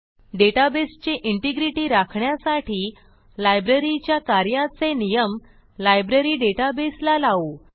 डेटाबेसची integrity राखण्यासाठी लायब्ररीच्या कार्याचे नियम लायब्ररी databaseला लावू